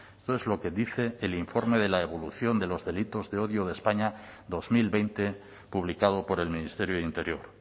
esto es lo que dice el informe de la evolución de los delitos de odio de españa dos mil veinte publicado por el ministerio de interior